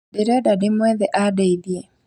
Ndĩrenda ndĩmwethe andeithie